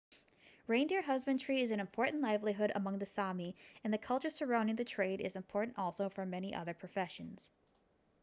reindeer husbandry is an important livelihood among the sámi and the culture surrounding the trade is important also for many with other professions